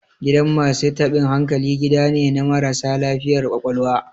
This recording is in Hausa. Gidan masu taɓin hankali, gida ne na marasa lafiyar ƙwaƙwalwa.